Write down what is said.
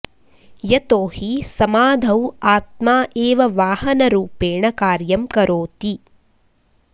यतो हि समाधौ आत्मा एव वाहनरूपेण कार्यं करोति